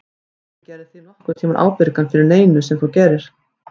Enginn gerði þig nokkurn tímann ábyrgan fyrir neinu sem þú gerðir.